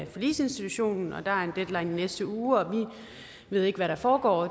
forligsinstitutionen og der en deadline i næste uge vi ved ikke hvad der foregår